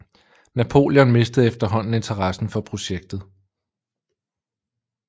Napoleon mistede efterhånden interessen for projektet